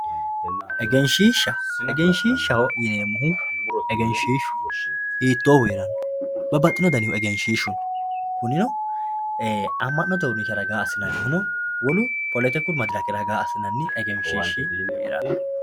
egenshiishshaho egenshiishshaho yineemohu egenshiishshu hiitoohu heeranno babbaxino danihu egenshiishshu kunino amma'note uurinsha ragaa assinayiihu no wolu poletiku madirake ragaa assinanni egenshiishshi heeranno.